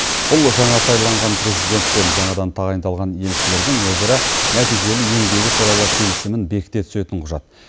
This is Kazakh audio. бұл жаңа сайланған президент пен жаңадан тағайындалған елшілердің өзара нәтижелі еңбегі туралы келісімін бекіте түсетін құжат